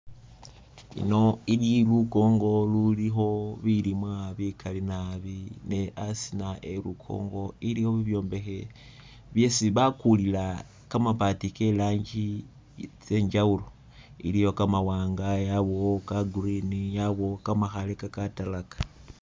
Ino ili lukongo lulikho bilimwa bikali naabi ne asiina elukongo iliyo bibyombekhe byesi bakulila kamabaati kerangi ke'njawulo , iliwo kamawanga, yabawo ka'green yabawo kamakhale ka katalaka